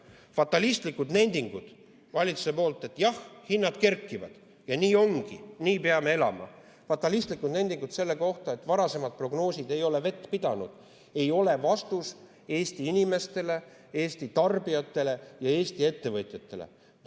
Fatalistlikud nendingud valitsuselt, et jah, hinnad kerkivad ja nii ongi, nii peame elama, fatalistlikud nendingud selle kohta, et varasemad prognoosid ei ole vett pidanud, ei ole vastus Eesti inimestele, Eesti tarbijatele ja Eesti ettevõtjatele.